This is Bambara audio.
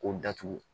K'o datugu